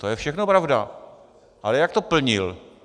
To je všechno pravda, ale jak to plnil?